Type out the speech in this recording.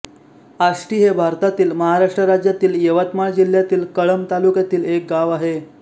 आष्टी हे भारतातील महाराष्ट्र राज्यातील यवतमाळ जिल्ह्यातील कळंब तालुक्यातील एक गाव आहे